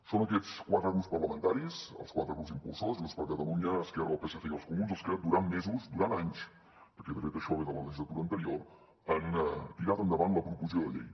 són aquests quatre grups parlamentaris els quatre grups impulsors junts per catalunya esquerra el psc i els comuns els que durant mesos durant anys perquè de fet això ve de la legislatura anterior han tirat endavant la proposició de llei